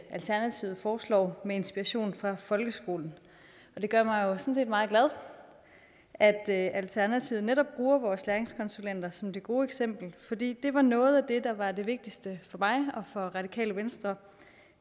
alternativet foreslår med inspiration fra folkeskolen det gør mig sådan set meget glad at alternativet netop bruger vores læringskonsulenter som det gode eksempel for det var noget af det der var det vigtigste for mig og for radikale venstre